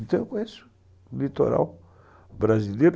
Então eu conheço o litoral brasileiro.